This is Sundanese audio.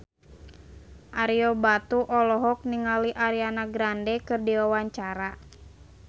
Ario Batu olohok ningali Ariana Grande keur diwawancara